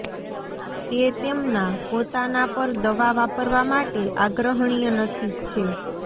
તે તેમના પોતાના પર દવા વાપરવા માટે આગ્રહણીય નથી છે